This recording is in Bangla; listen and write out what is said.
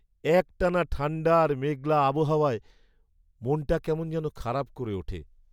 একটানা ঠাণ্ডা আর মেঘলা আবহাওয়ায় মনটা কেমন যেন খারাপ করে ওঠে।